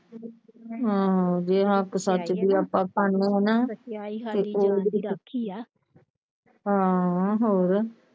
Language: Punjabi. ਹਾਂ ਜੇ ਹੱਕ ਸੱਚ ਦੀ ਆਪਾਂ ਖਾਣੇ ਆ ਨਾ ਆਹੋ ਹੋਰ।